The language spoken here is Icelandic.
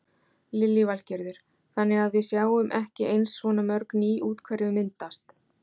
Lillý Valgerður: Þannig að við sjáum ekki eins svona mörg ný úthverfi myndast?